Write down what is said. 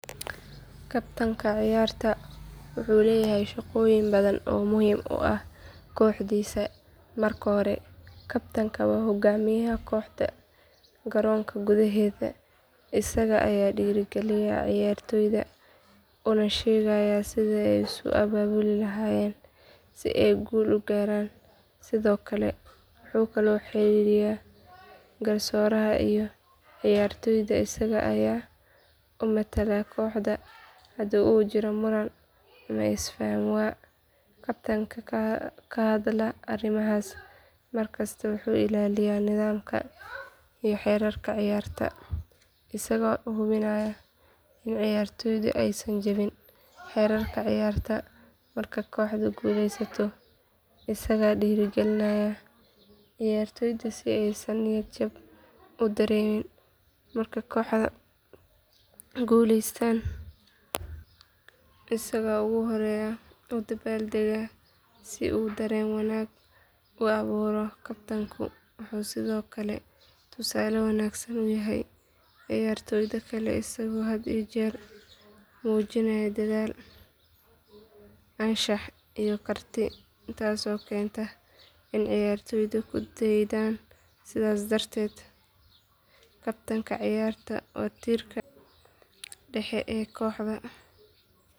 Kabtanka ciyaarta wuxuu leeyahay shaqooyin badan oo muhiim u ah kooxdiisa marka hore kabtanku waa hogaamiyaha kooxda garoonka gudaheeda isaga ayaa dhiirigeliya ciyaartoyda una sheegaya sida ay isu abaabuli lahaayeen si ay guul u gaaraan sidoo kale wuxuu kala xiriiyaa garsooraha iyo ciyaartoyda isaga ayaa u matala kooxda hadii uu jiro muran ama isfaham waa kabtanka ka hadla arrimahaas markasta wuxuu ilaaliyaa nidaamka iyo xeerarka ciyaarta isagoo u hubinaya in ciyaartoydu aysan jebin xeerarka ciyaarta marka kooxdu guuldareysato isagaa dhiirrigelinaya ciyaartoyda si aysan niyad jab u dareemin marka kooxdu guuleysatana isagaa ugu horeeya u dabaaldega si uu dareen wanaag u abuuro kabtanku wuxuu sidoo kale tusaale wanaagsan u yahay ciyaartoyda kale isagoo had iyo jeer muujinaya dadaal anshax iyo karti taasoo keenta in ciyaartoydu ku daydaan sidaas darteed kabtanka ciyaarta waa tiirka dhexe ee kooxda.